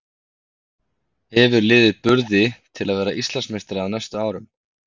Hefur liðið burði til að verða Íslandsmeistari á næstu árum?